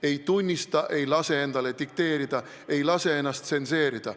Ei tunnista, ei lase endale dikteerida, ei lase ennast tsenseerida.